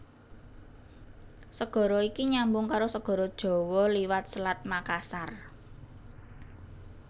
Segara iki nyambung karo Segara Jawa liwat Selat Makassar